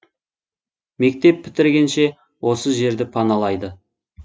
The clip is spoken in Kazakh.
мектеп бітіргенше осы жерді паналайды